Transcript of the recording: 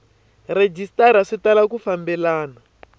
rhejisitara swi tala ku fambelena